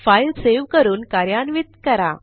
file save करून कार्यान्वित करा